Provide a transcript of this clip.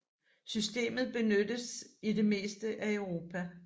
Systemet benyttes i det meste af Europa